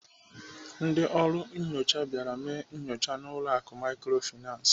Ndị ọrụ nnyocha bịara mee nyocha n'ụlọ akụ Microfinance.